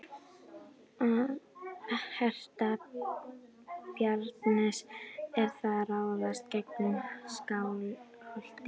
Að hertaka Bjarnanes er að ráðast gegn Skálholti.